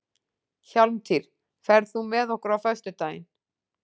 Hjálmtýr, ferð þú með okkur á föstudaginn?